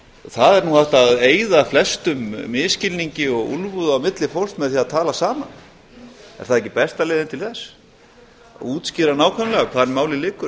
það er nú hægt að eyða flestum misskilningi og úlfúð á milli fólks með því að tala saman er það ekki besta leiðin til þess að útskýra nákvæmlega hvar málið liggur